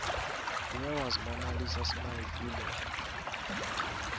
where was mona lisa smile filmed